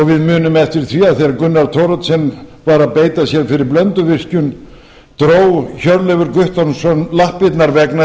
við munum eftir því þegar gunnar thoroddsen var að beita sér fyrir blönduvirkjun dró hjörleifur guttormsson lappirnar vegna þess að